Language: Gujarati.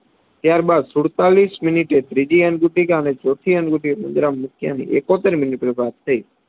ત્યાર બાદ સુડતાલીસ મિનિટે ત્રીજી અંગુટિકા અને ચોથી અંગુટિકા પેટીમાં મૂક્યાની એકોતેર મિનિટે પ્રાપ્ત થઇ